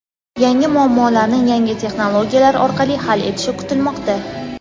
yangi muammolarni yangi texnologiyalar orqali hal etishi kutilmoqda.